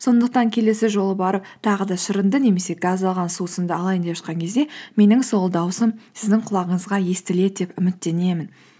сондықтан келесі жолы барып тағы да шырынды немесе газдалған сусынды алайын деп жатқан кезде менің сол даусым сіздің құлағыңызға естіледі деп үміттенемін